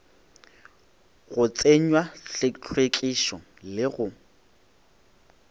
go tsenywa hlwekišo le go